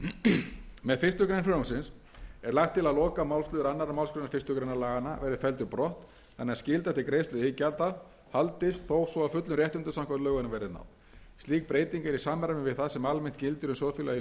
grein með fyrstu grein frumvarpsins er lagt til að lokamálsliður annarri málsgrein fyrstu grein laganna verði felldur brott þannig að skylda til greiðslu iðgjalda haldist þó svo að fullum réttindum samkvæmt lögunum verði náð slík breyting er í samræmi við það sem almennt gildir um sjóðfélaga í lífeyrissjóði starfsmanna